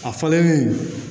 A fɔlen